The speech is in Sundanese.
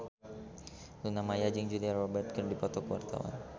Luna Maya jeung Julia Robert keur dipoto ku wartawan